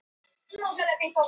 Áætlun um afnám hafta í febrúar